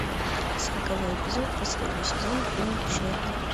сороковой эпизод последний сезон фильм шерлок